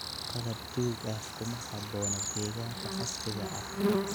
Qalab duug ah kuma habboona deegaanka casriga ah.